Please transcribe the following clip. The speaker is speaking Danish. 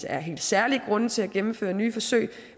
er helt særlige grunde til at gennemføre nye forsøg